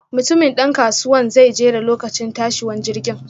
Mutumin dan kasuwanan zai jera lokacin tashiwan jirgin.